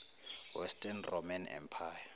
western roman empire